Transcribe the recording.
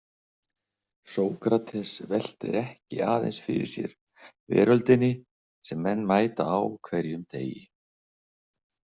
Sókrates veltir ekki aðeins fyrir sér veröldinni sem menn mæta á hverjum degi.